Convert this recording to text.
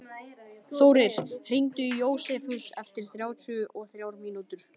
Þórir, hringdu í Jósefus eftir þrjátíu og þrjár mínútur.